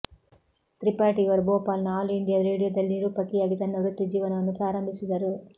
ತ್ರಿಪಾಠಿ ಇವರು ಭೋಪಾಲ್ನ all India ರೇಡಿಯೋದಲ್ಲಿ ನಿರೂಪಕಿಯಾಗಿ ತನ್ನ ವೃತ್ತಿಜೀವನವನ್ನು ಪ್ರಾರಂಭಿಸಿದರು